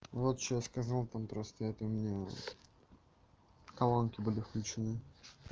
вот что сказал там просто это у меня колонки были включены